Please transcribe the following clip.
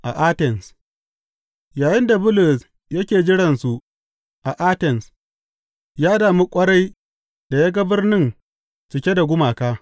A Atens Yayinda Bulus yake jiransu a Atens, ya damu ƙwarai da ya ga birnin cike da gumaka.